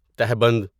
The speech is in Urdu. تہبند